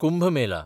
Kumbh Mela